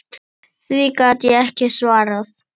Því gat ég ekki svarað.